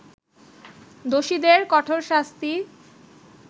দোষীদের কঠোর শাস্তি